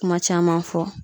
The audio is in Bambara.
Kuma caman fɔ.